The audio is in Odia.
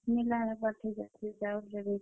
मिलावट ହେଇଯାଉଛେ ଚାଉଲ୍ ରେ ବି।